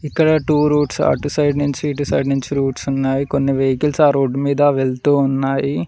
ఇక్కడ two routes అటు side నుంచి ఇటు సైడ్ నుంచి రూట్స్ ఉన్నాయి కొన్ని వెహికల్స్ ఆ రూట్ మీద వెళ్తూ ఉన్నాయి.